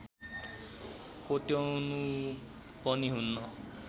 कोट्याउनु पनि हुन्न